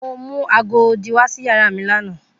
Mo mu aago odi wa si yara mi lana.